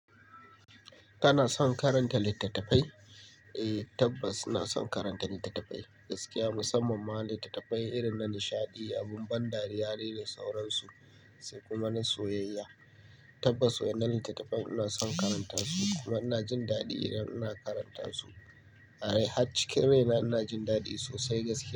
Kana son karanta littattafai? Eh tabbas ina son karanta littattafai gaskiya musamman ma littattafai irin na nishaɗi, abun ban dariya ne da sauransu sai kuma na soyayya. Tabbas waɗannan littattafai ina son karanta su kuma ina jin daɗi idan ina karanta su. A dai har cikin rai na ina jin daɗi sosai gaskiya.